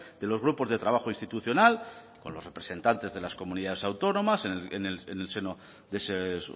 de los grupos de trabajo institucional con los representantes de las comunidades autónomas en el seno de esos